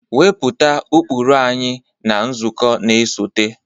Wepụta ụkpụrụ anyị na nzukọ na-esote!